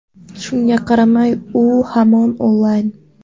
Shunga qaramay, u hamon onlayn!